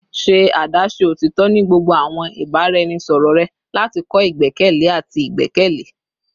Ṣe adaṣe otitọ ni gbogbo awọn ibaraẹnisọrọ rẹ lati kọ igbẹkẹle ati igbẹkẹle